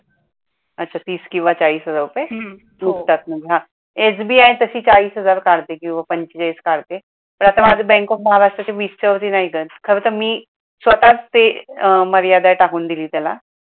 अच्छा तीस किंवा चाळीस हजार रुपये निघतात म्हणजे हा SBI तशी चाळीस हजार काढते किंवा पंचवीस काढते तर आता माझ bank of महाराष्ट्र खरं तर मी स्वतःच ते मर्यादा टाकून दिली त्याला